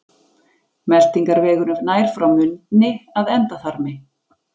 meltingarvegurinn nær frá munni að endaþarmi